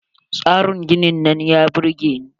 Tsarin ginin nan ya burge ni.